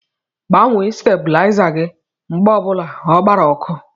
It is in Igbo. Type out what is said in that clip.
Gbanwee stabuliza gị mgbe obula ọ gbara ọkụ!!!